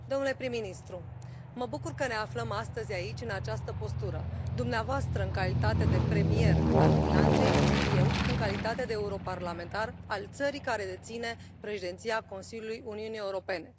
Domnule prim ministru, mă bucur că ne aflăm astăzi aici în această postură, dumneavoastră în calitate de premier al Finlandei, eu în calitate de europarlamentar al țării care deține președinția Consiliului Uniunii Europene.